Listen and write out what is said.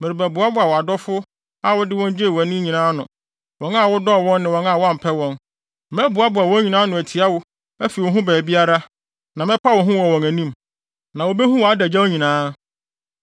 merebɛboaboa wʼadɔfo a wode wɔn gyee wʼani nyinaa ano; wɔn a wodɔɔ wɔn ne wɔn a woampɛ wɔn. Mɛboaboa wɔn nyinaa ano atia wo afi wo ho baabiara, na mɛpa wo ho wɔ wɔn anim, na wobehu wʼadagyaw nyinaa.